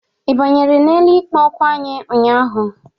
Ị banyere n'elu ikpo okwu anyị ụnyaahụ?